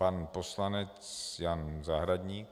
Pan poslanec Jan Zahradník.